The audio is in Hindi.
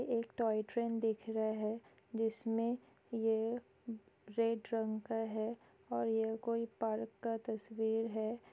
एक टॉय ट्रेन दिख रहा हैं जिसमें ये रेड रंग का हैं और यह कोई पार्क का तस्वीर हैं।